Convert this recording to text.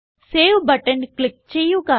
save button click ചെയ്യുക